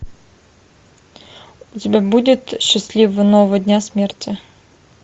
у тебя будет счастливого нового дня смерти